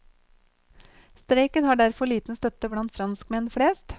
Streiken har derfor liten støtte blant franskmenn flest.